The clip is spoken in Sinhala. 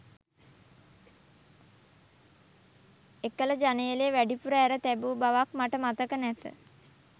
එකල ජනේලය වැඩිපුර ඇර තැබූ බවක් මට මතක නැත